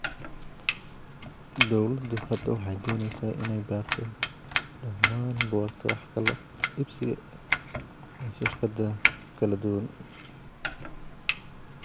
Dawladdu hadda waxay doonaysaa inay baarto dhammaan buugaagta wax kala iibsiga ee shirkadaha kala duwan.